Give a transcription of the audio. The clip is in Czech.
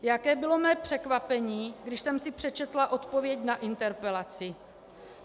Jaké bylo mé překvapení, když jsem si přečetla odpověď na interpelaci.